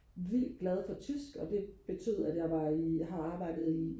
vildt glad for tysk og det betød at jeg var i har arbejdet i